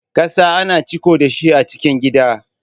ƙasa ana ciko dashi a cikin gidan.